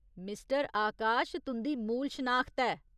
Mister Akash तुं'दी मूल शनाखत ऐ।